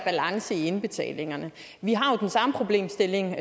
balance i indbetalingerne vi har jo den samme problemstilling